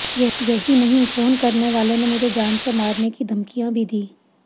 यही नहीं फोन करने वाले ने मुझे जान से मारने की धमकियां भी दी